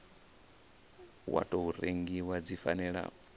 wa tou rengiwa dzi fanela